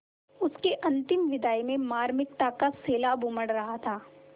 उसकी अंतिम विदाई में मार्मिकता का सैलाब उमड़ रहा था